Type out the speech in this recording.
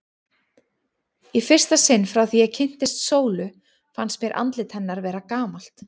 Í fyrsta sinn frá því ég kynntist Sólu fannst mér andlit hennar vera gamalt.